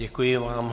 Děkuji vám.